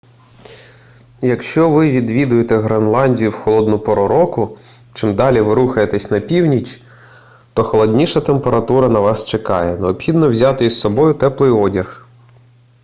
якщо ви відвідуєте гренландію в холодну пору року чим далі ви рухаєтеся на північ то холодніша температура на вас чекає необхідно взяти із собою теплий одяг